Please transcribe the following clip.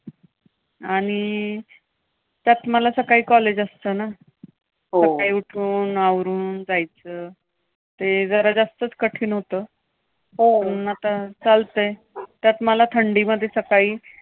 आणि त्यात मला सकाळी college असतं ना. हो सकाळी उठून, आवरून जायचं. ते जरा जास्तच कठीण होतं. हो! मग आता चालतंय. त्यात मला थंडीमध्ये सकाळी